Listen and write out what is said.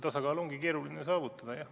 Tasakaalu ongi keeruline saavutada.